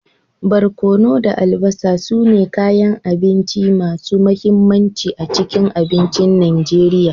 Barkono da albasa su ne kayan abinci masu mahimmanci a cikin abincin Najeriya.